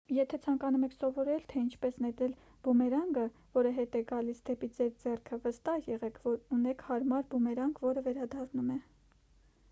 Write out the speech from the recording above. եթե ցանկանում եք սովորել թե ինչպես նետել բումերանգը որը հետ է գալիս դեպի ձեր ձեռքը վստահ եղեք որ ունեք հարմար բումերանգ որը վերադառնում է